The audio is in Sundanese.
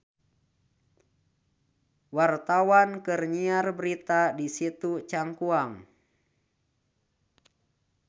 Wartawan keur nyiar berita di Situ Cangkuang